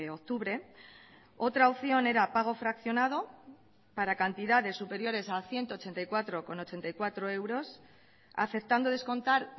octubre otra opción era pago fraccionado para cantidades superiores a ciento ochenta y cuatro coma ochenta y cuatro euros aceptando descontar